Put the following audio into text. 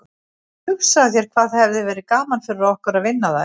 En hugsaðu þér hvað hefði verið gaman fyrir okkur að vinna þær.